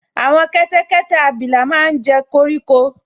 Àwọn kẹ́tẹ́kẹ́tẹ́ abilà máa n jẹ koríko